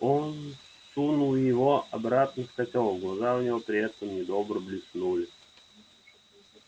он сунул его обратно в котёл глаза у него при этом недобро блеснули